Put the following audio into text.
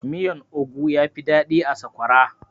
Miyan ogu yafi daɗi da sakwara